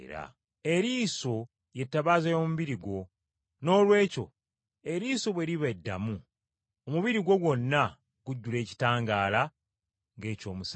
“Eriiso y’ettabaaza y’omubiri gwo, noolwekyo eriiso bwe liba eddamu, omubiri gwo gwonna gujjula ekitangaala ng’eky’omusana.